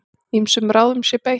Ýmsum ráðum sé beitt.